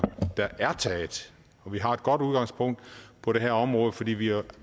der vi har et godt udgangspunkt på det her område fordi vi jo